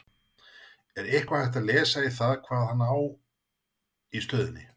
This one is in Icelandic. Er eitthvað hægt að lesa í það hvað hann á í stöðunni?